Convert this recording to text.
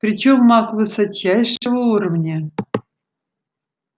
причём маг высочайшего уровня